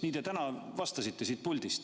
Nii te täna vastasite siin puldis.